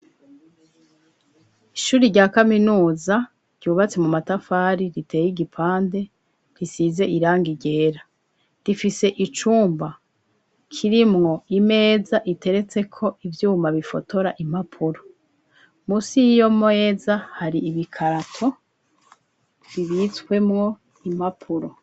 Ishuri rya kaminuza ryubatse mu matafari riteye igipande risize iranga ryera, rifise icumba kirimo imeza iteretse ko ivyuma bifotora impapuro, musi 'iyo meza hari ibikarato bibitswemo impapuro.